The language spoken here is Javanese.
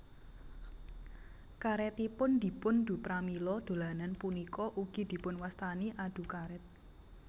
Karétipun dipun du pramila dolanan punika ugi dipunwastani adu karét